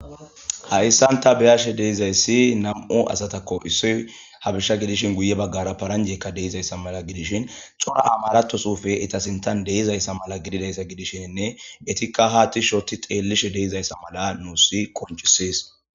hayssanta beyashe deizayssi nam7o asatakko issoy habishsha gidishin guye baggara paranjekka deizayssa mala gidishin xora amaratosufe itasintan deizayssa mala gididayssa gidishenne etikka haatti shoti xeellishe deizayssa mala nuussi konchisis